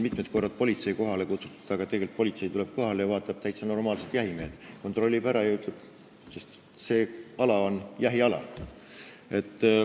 Mitmel korral on politsei kohale kutsutud, politsei tuleb kohale ja vaatab, et täitsa normaalsed jahimehed ja see ala on jahiala.